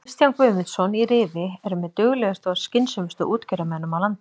Kristján Guðmundsson í Rifi er með duglegustu og skynsömustu útgerðarmönnum á landinu.